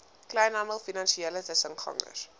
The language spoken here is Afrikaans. kleinhandel finansiële tussengangers